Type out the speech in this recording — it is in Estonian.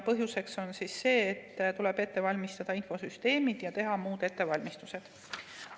Põhjuseks on see, et tuleb ette valmistada infosüsteemid ja teha muud ettevalmistused.